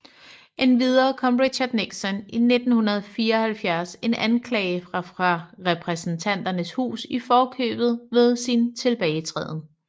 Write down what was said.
Endvidere kom Richard Nixon i 1974 en anklage fra Repræsentanternes Hus i forkøbet ved sin tilbagetræden